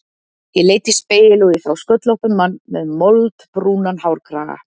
Ég leit í spegil og ég sá sköllóttan mann með moldbrúnan hárkraga.